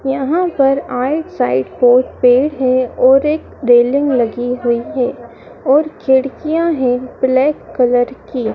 यहां पर right side पर पेड़ है और एक रेलिंग लगी हुई है और खिड़कियां हैं ब्लैक कलर की।